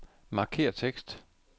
Markér tekst.